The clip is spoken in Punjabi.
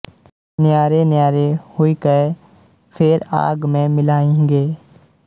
ਨਿਆਰੇ ਨਿਆਰੇ ਹੁਇ ਕੈ ਫੇਰਿ ਆਗ ਮੈ ਮਿਲਾਂਹਿੰਗੇ